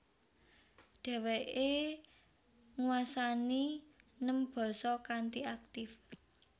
Dheweke ngwasani nem basa kanthi aktif